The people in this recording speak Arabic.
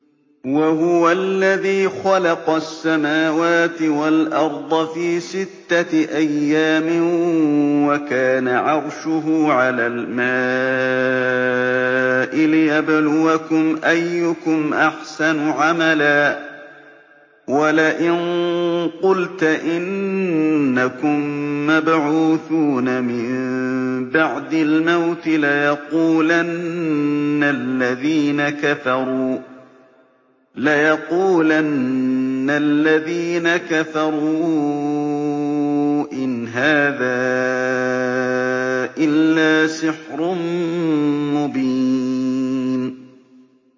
وَهُوَ الَّذِي خَلَقَ السَّمَاوَاتِ وَالْأَرْضَ فِي سِتَّةِ أَيَّامٍ وَكَانَ عَرْشُهُ عَلَى الْمَاءِ لِيَبْلُوَكُمْ أَيُّكُمْ أَحْسَنُ عَمَلًا ۗ وَلَئِن قُلْتَ إِنَّكُم مَّبْعُوثُونَ مِن بَعْدِ الْمَوْتِ لَيَقُولَنَّ الَّذِينَ كَفَرُوا إِنْ هَٰذَا إِلَّا سِحْرٌ مُّبِينٌ